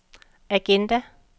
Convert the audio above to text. agenda